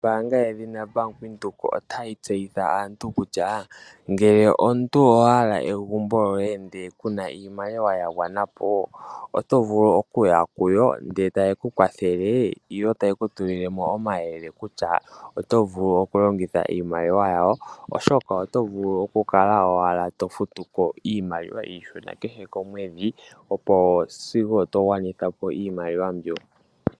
Ombaanga yedhina Bank Windhoek otayi tseyithile aantu kutya ngele omuntu owahala egumbo lyoye ndele kuna iimaliwa yagwana otovulu okuya ndele tayeku kwathele yeku tulilemo omayele kutya otovulu okulongitha iimaliwa. Tokala owala tofutuko iimaliwa iishona kehe komwedhi opo wugwanithe iimaliwa mbyoka.